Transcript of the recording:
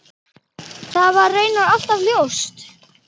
Það var raunar alltaf ljóst.